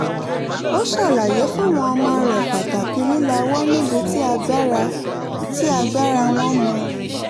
ó ṣàlàyé fáwọn ọmọ rẹ̀ pàtàkì lílawọ́ nibi tí agbàra tí agbàra wọ́n mọ